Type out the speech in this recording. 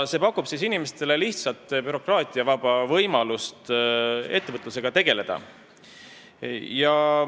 See pakub inimestele lihtsat bürokraatiavaba võimalust ettevõtlusega tegeleda.